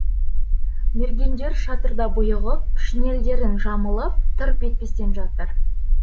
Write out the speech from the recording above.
мергендер шатырда бұйығып шинельдерін жамылып тырп етпестен жатыр